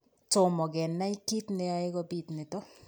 Tomo kenai kiit neyoe kobit nitok